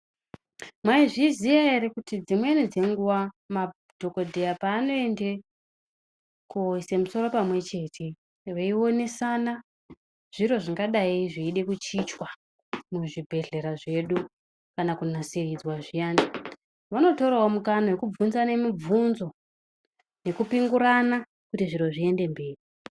Mwaizviziya ere kuti dzimweni dzenguvwa madhokodheya paanoende ko ise musoro pamwe chete veionesana zviro zvingadai zveida kuchichwa muzvibhedhlera zvedu kana kunasiridzwa zviyana vanotoravo mukana wekubvunzane mubvunzo nekupingurana kuti zviro zviende mberi.